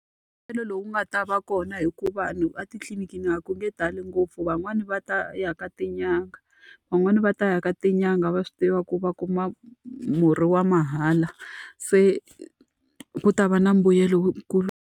Mbuyelo lowu nga ta va kona i ku va vanhu a titliliniki a ku nge tali ngopfu van'wani va ta ya ka tin'anga, van'wani va ta ya ka tin'anga va swi tiva ku va kuma murhi wa mahala. Se ku ta va na mbuyelo wu kulu.